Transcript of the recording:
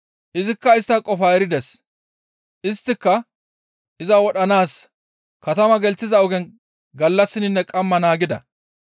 Izikka istta qofaa erides; isttika iza wodhanaas katamaa gelththiza ogen gallassinne qamma naagida.